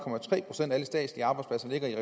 procent af alle statslige arbejdspladser ligger i